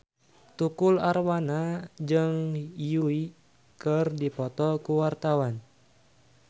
Tukul Arwana jeung Yui keur dipoto ku wartawan